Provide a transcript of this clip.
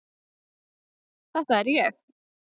Þetta er ég.